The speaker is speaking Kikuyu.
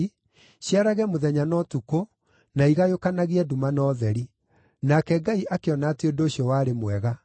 ciarage mũthenya na ũtukũ, na igayũkanagie nduma na ũtheri. Nake Ngai akĩona atĩ ũndũ ũcio warĩ mwega.